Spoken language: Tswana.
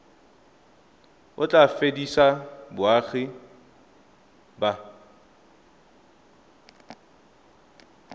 o tla fedisa boagi ba